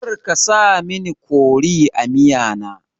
Karka sa mini kori a miya na